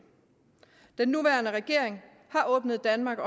den nuværende regering har åbnet danmark